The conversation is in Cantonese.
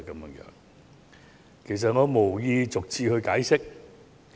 我亦無意逐次解釋。